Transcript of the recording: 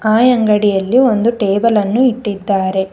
ಆ ಅಂಗಡಿಯಲ್ಲಿ ಒಂದು ಟೇಬಲ್ ಅನ್ನು ಇಟ್ಟಿದ್ದಾರೆ.